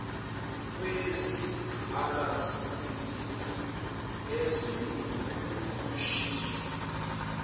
kwezingqalasizinda ezolimo nokushintshwa